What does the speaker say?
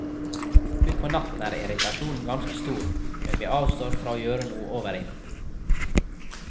Utpå natten er irritasjonen ganske stor, men vi avstår fra å gjøre noe overilt.